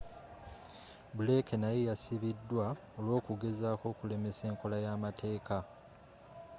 blake naye yasibidwa olw'okugezako okulemesa enkola yamateeka